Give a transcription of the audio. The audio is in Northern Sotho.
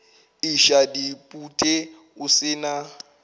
iša dipute o se na